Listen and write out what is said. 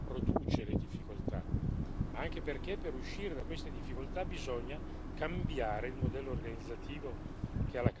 ma anche perché per uscire da queste difficoltà bisogna cambiare il modello organizzativo che è la causa della crisi.